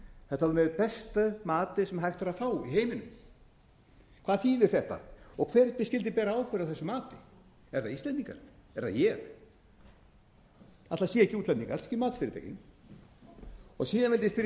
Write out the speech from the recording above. þetta var með besta mati sem hægt var að fá í heiminum hvað þýðir þetta og hver skyldi bera ábyrgð á þessu mati eru það íslendingar er það ég ætli það séu ekki útlendingar ekki matsfyrirtækin síðan vildi ég spyrja